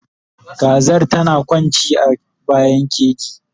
Kazar tana kwanci a bayan keji